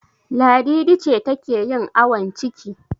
Ladidi ce take yin awon ciki.